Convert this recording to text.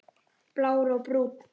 Blár og Brúnn.